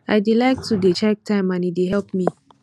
i dey like to dey check time and e dey help me